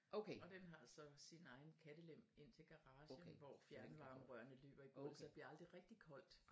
Og den har så sin egen kattelem ind til garagen hvor fjernvarmerørene løber i gulvet så det bliver aldrig rigtig koldt